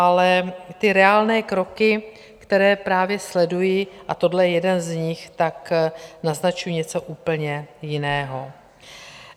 Ale ty reálné kroky, které právě sleduji, a tohle je jeden z nich, tak naznačují něco úplně jiného.